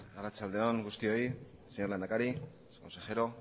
arratsalde on guztioi señor lehendakari señor consejero